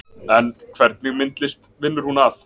En hvernig myndlist vinnur hún að